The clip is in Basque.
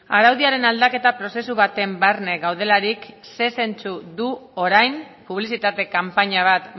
araudiaren aldaketa prozesu baten barne gaudelarik zer zentzu du orain publizitate kanpaina bat